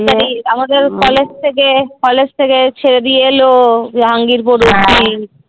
আমাদের কলেজ থেকে কলেজ থেকে ছেড়ে দিয়ে এলো জাহাঙ্গিরপুর।